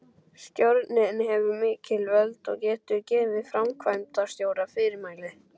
Stjórnin hefur mikil völd og getur gefið framkvæmdastjóra fyrirmæli.